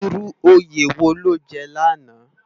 Irú óyé wó ló jè làná?